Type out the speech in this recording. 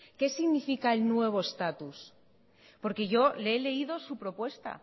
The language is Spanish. qué significa el nuevo status porque yo le he leídosu propuesta